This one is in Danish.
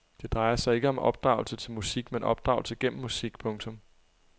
Det drejer sig ikke om opdragelse til musik men opdragelse gennem musik. punktum